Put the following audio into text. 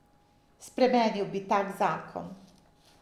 Spremenil bi tak zakon.